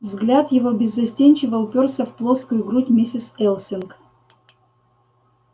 взгляд его беззастенчиво упёрся в плоскую грудь миссис элсинг